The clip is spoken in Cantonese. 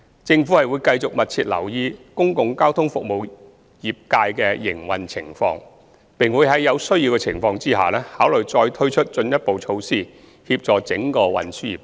政府會繼續密切留意公共交通服務業界的營運情況，並在有需要的情況下，考慮再推出進一步措施協助整個運輸業界。